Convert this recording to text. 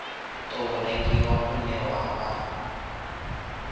tou rengiwa une wa vha